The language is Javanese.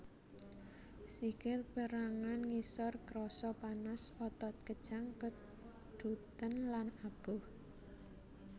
Sikil pérangan ngisor krasa panas otot kejang keduten lan aboh